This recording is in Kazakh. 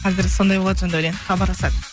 қазіргі сондай болады сонда өлең хабаралсады